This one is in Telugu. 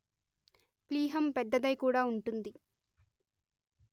ప్లీహం పెద్దదై కూడా ఉంటుంది